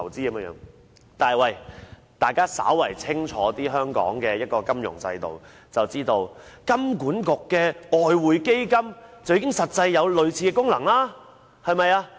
但是，如果大家稍為清楚香港的金融制度，便會知道香港金融管理局的外匯基金實際上已有類似的功能。